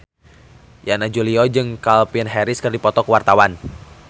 Yana Julio jeung Calvin Harris keur dipoto ku wartawan